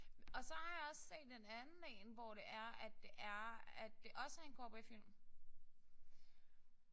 Og så har jeg også set en anden én hvor det er at det er at det også er en cowboyfilm